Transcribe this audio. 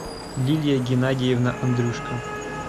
лилия геннадьевна андрюшко